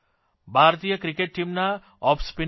ભારતીય ક્રિકેટ ટીમના off spinner R